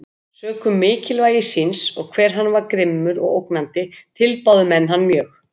Sökum mikilvægi síns, og hve hann var grimmur og ógnandi, tilbáðu menn hann mjög.